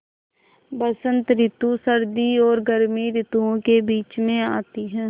बसंत रितु सर्दी और गर्मी रितुवो के बीच मे आती हैँ